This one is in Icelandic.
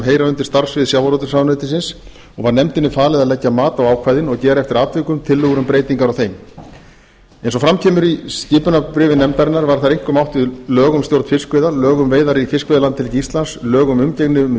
heyra undir starfssvið sjávarútvegsráðuneytisins og var nefndinni falið að leggja mat á ákvæðin og gera eftir atvikum tillögur um breytingar á þeim eins og fram kemur í skipunarbréfi nefndarinnar var þar einkum átt við lög um stjórn fiskveiða lög um veiðar í fiskveiðilandhelgi íslands lög um umgengni um